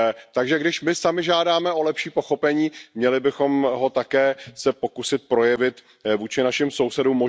Takže když my sami žádáme o lepší pochopení, měli bychom se také pokusit ho projevit vůči našim sousedům.